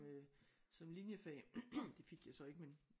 Øh som linjefag det fik jeg så ikke men